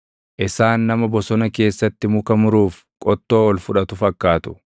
Isaan nama bosona keessatti muka muruuf qottoo ol fudhatu fakkaatu.